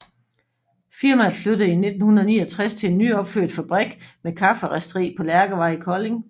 Firmaet flyttede i 1969 til en nyopført fabrik med kafferisteri på Lærkevej i Kolding